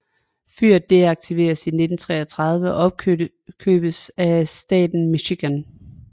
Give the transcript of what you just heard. Fyret deaktiveredes i 1933 og opkøbtes af Staten Michigan